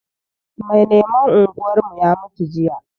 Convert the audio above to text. Mai lemon unguwarmu ya mutu jiya